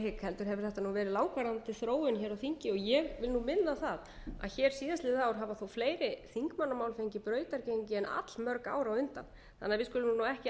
hygg heldur hefur þetta nú verið langvarandi þróun hér á þingi ég vil nú minna á það að hér síðastliðið ár hafa þó fleiri þingmannamál fengið brautargengi en allmörg ár á undan þannig að við skulum